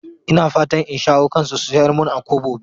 Ina fatan in shawo kansu su sayar mun a Kobo biyar.